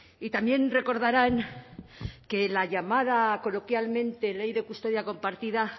y también recordarán que la llamada coloquialmente ley de custodia compartida